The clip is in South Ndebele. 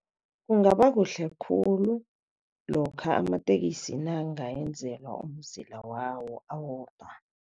Kungaba kuhle khulu lokha amatekisi nange ayenzelwa umzila wawo awodwa.